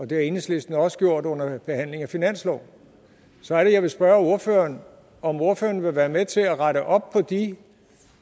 det har enhedslisten også gjort under behandlingen af finansloven så er det jeg vil spørge ordføreren om ordføreren vil være med til at rette op på de